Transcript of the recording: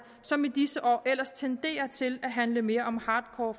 som i disse år ellers tenderer til at handle mere om hardcore